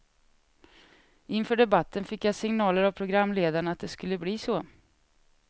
Inför debatten fick jag signaler av programledarna att det skulle bli så.